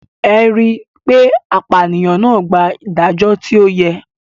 Ẹ ri pe apànìyàn náà gbà ìdájọ́ tí ó yẹ.